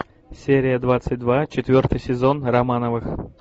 серия двадцать два четвертый сезон романовых